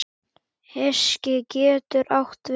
Hyski getur átt við